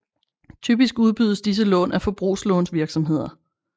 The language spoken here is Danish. Typisk udbydes disse lån af forbrugslånsvirksomheder